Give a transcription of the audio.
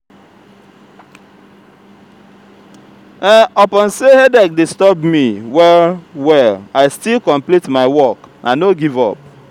upon sey headache disturb me well-well i still complete my work i no give up.